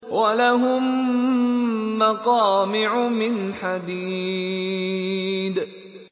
وَلَهُم مَّقَامِعُ مِنْ حَدِيدٍ